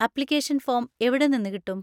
Application form എവിടെനിന്ന് കിട്ടും?